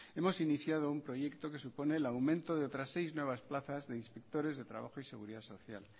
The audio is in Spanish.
hemos iniciado un proyecto que supone el aumento de otras seis nuevas plazas de inspectores de trabajo y seguridad social